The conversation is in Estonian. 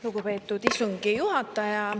Lugupeetud istungi juhataja!